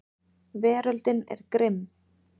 Veröldin er grimm.